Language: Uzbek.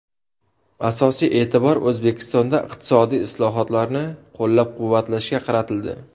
Asosiy e’tibor O‘zbekistonda iqtisodiy islohotlarni qo‘llab-quvvatlashga qaratildi.